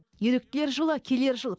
еріктілер жылы келер жыл